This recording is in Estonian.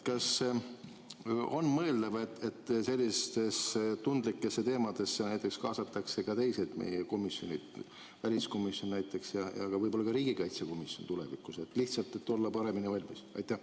Kas on mõeldav, et selliste tundlike teemade puhul kaasatakse tulevikus ka teised meie komisjonid, näiteks väliskomisjon ja võib-olla ka riigikaitsekomisjon, lihtsalt selleks, et olla paremini valmis?